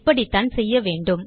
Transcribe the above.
இப்படித்தான் செய்ய வேண்டும்